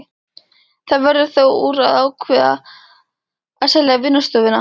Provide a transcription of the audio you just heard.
Það verður þó úr að ákveðið er að selja vinnustofuna.